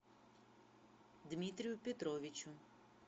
дмитрию петровичу